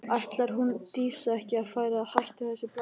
Ætlar hún Dísa ekki að fara að hætta þessu blaðri?